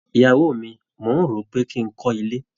Ìyàwó mi, mò ń rò ó pé kí n kọ́ ilé.